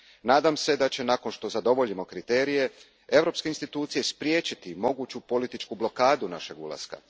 Nadam se da će, nakon što zadovoljimo kriterije, europske institucije spriječiti moguću političku blokadu našeg ulaska.